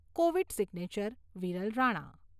Covid signature Viral Rana